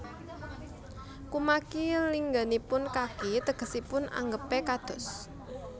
Kumaki lingganipun kaki tegesipun anggepé kados